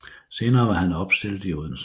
Senere var han opstillet i Odense